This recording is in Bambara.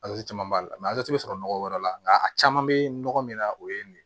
caman b'a la bɛ sɔrɔ nɔgɔ wɛrɛ la nka a caman bɛ nɔgɔ min na o ye nin ye